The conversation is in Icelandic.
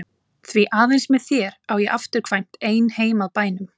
Því aðeins með þér á ég afturkvæmt ein heim að bænum.